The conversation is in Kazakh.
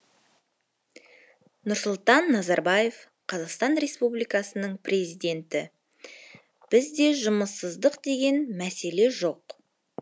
нұрсұлтан назарбаев қазақстан республикасының президенті бізде жұмыссыздық деген мәселе жоқ